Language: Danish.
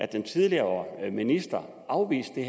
den tidligere minister afviste det